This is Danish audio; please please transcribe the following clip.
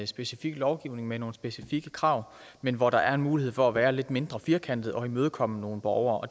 specifik lovgivning med nogle specifikke krav men hvor der er mulighed for at være lidt mindre firkantet og imødekomme nogle borgere